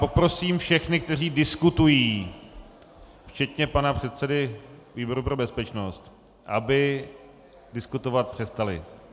Poprosím všechny, kteří diskutují, včetně pana předsedy výboru pro bezpečnost, aby diskutovat přestali.